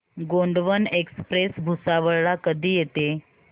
Gondwana express Bhusawal ला कधी येते